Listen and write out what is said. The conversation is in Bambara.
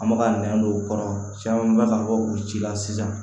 An bɛ ka nɛn don u kɔrɔ caman bɛ ka bɔ u ci la sisan